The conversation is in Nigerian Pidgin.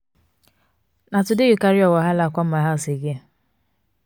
na today you carry your wahala come my house again?